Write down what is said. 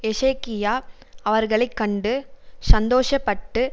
எசேக்கியா அவர்களை கண்டு சந்தோஷப்பட்டு